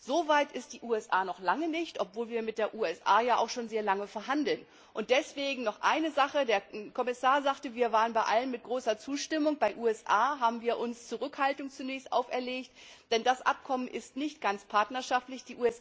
So weit sind die USA noch lange nicht, obwohl wir mit den USA auch schon sehr lange verhandeln. Deswegen noch eine Sache Der Kommissar sagte, wir waren bei allen mit großer Zustimmung bei der Sache, bei den USA haben wir uns zunächst Zurückhaltung auferlegt, denn das Abkommen ist nicht ganz partnerschaftlich.